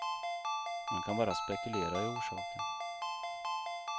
Man kan bara spekulera i orsaken.